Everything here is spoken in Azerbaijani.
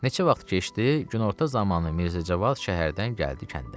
Neçə vaxt keçdi, günorta zamanı Mirzəcavad şəhərdən gəldi kəndə.